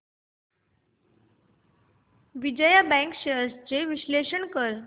Vijaya bank shares चे विश्लेषण कर